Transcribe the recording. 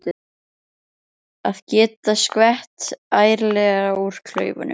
Að geta skvett ærlega úr klaufunum!